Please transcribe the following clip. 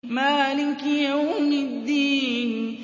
مَالِكِ يَوْمِ الدِّينِ